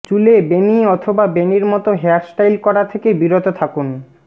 চুলে বেণী অথবা বেণীর মতো হেয়ারস্টাইল করা থেকে বিরত থাকুন